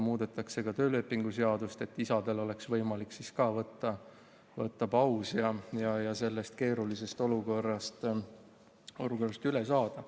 Muudetakse ka töölepingu seadust, et isal oleks võimalik siis ka paus võtta ja sellest keerulisest olukorrast üle saada.